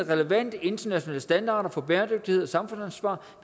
relevante internationale standarder for bæredygtighed og samfundsansvar